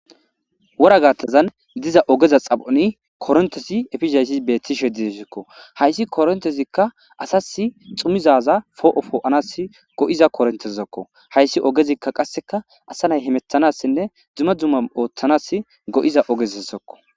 wora gattazan diza ogeza xap'oni korontezi efizayssi betiishshe de'essikko hayssi korontezikka asas xumizaza po'o poo'anas go'iza korontezakko hayssi ogezikka qasseka asa nay hemettanassinne dumma dumma ooththanas go'iza ogezasokko